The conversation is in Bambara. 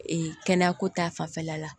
Ee kɛnɛyako ta fanfɛla la